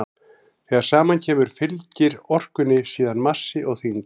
þegar saman kemur fylgir orkunni síðan massi og þyngd